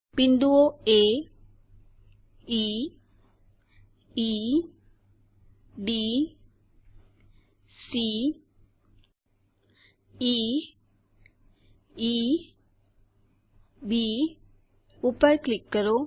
બિંદુઓ A E E D C E E B ઉપર click કરો